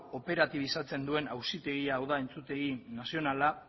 operatibizatzen duen auzitegia hau da entzutegi nazionala